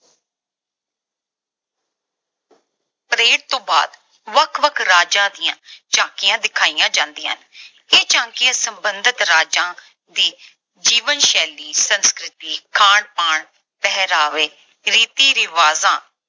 parade ਤੋਂ ਬਾਅਦ ਵੱਖ-ਵੱਖ ਰਾਜਾਂ ਦੀਆਂ ਝਾਕੀਆਂ ਵਿਖਾਈਆਂ ਜਾਂਦੀਆਂ ਹਨ। ਇਹ ਝਾਕੀਆਂ ਸਬੰਧਤ ਰਾਜਾਂ ਦੀ ਜੀਵਨ ਸ਼ੈਲੀ, ਸੰਸਕ੍ਰਿਤੀ, ਖਾਣ-ਪਾਣ, ਪਹਿਰਾਵੇ, ਰੀਤੀ ਰਿਵਾਜਾਂ